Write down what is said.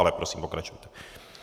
Ale prosím, pokračujte.